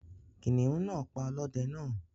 Kìnìún náà pa ọlọ́dẹ náà.